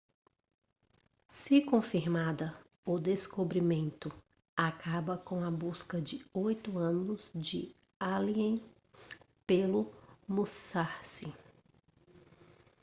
se confirmada o descobrimento acaba com a busca de oito anos de allen pelo musashi